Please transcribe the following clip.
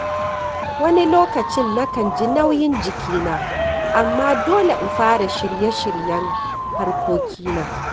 Wani lokacin na kan ji nauyin jikina amma dole in fara shirye-shiryen harkokina.